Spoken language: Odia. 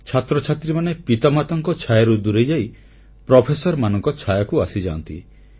ଛାତ୍ରଛାତ୍ରୀମାନେ ପିତାମାତାଙ୍କ ଛାୟାରୁ ଦୂରେଇଯାଇ ପ୍ରଫେସରମାନଙ୍କ ଛାୟାକୁ ଆସିଯାନ୍ତି